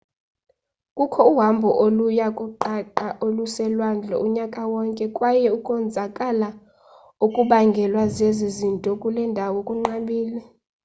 kukho uhambo oluya kuqaqa oluselwandle unyaka wonke kwaye ukonzakala okubangelwa zezi zinto kule ndawo kunqabile